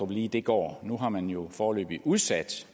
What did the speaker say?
lige det går nu har man jo foreløbig udsat